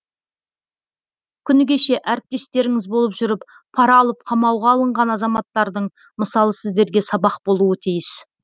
күні кеше әріптестеріңіз болып жүріп пара алып қамауға алынған азаматтардың мысалы сіздерге сабақ болуы тиіс